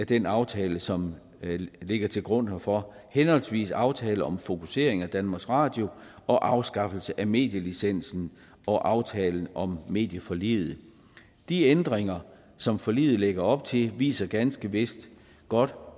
den aftale som ligger til grund herfor henholdsvis aftale om fokusering af danmarks radio og afskaffelse af medielicensen og aftalen om medieforliget de ændringer som forliget lægger op til viser ganske vist godt